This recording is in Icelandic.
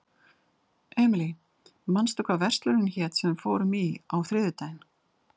Emely, manstu hvað verslunin hét sem við fórum í á þriðjudaginn?